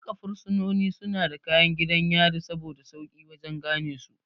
Duka fursunoni suna da kayan gidan yari saboda sauƙi wajan ganesu